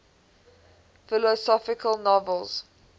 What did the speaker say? philosophical novels